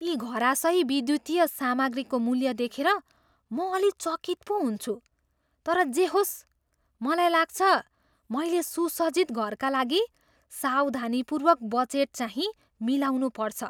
यी घरायसी विद्युतीय सामग्रीको मूल्य देखेर म अलि चकित पो हुन्छु, तर जे होस् मलाई लाग्छ मैले सुसज्जित घरका लागि सावधानीपूर्वक बजेटचाहिँ मिलाउनुपर्छ।